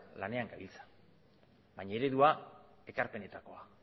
lanean gabiltza baina eredua ekarpenetakoa